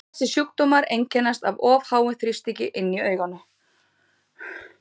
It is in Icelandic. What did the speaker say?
Þessir sjúkdómar einkennast af of háum þrýstingi inni í auganu.